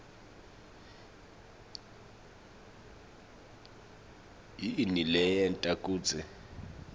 yini leyenta kutsi